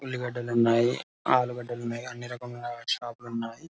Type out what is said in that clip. ఉల్లిగడ్డలు ఉన్నాయి . ఆలుగడ్డలు ఉన్నాయి. అన్ని రకముల షాపులు ఉన్నాయి.